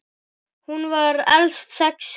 Hún var elst sex systra.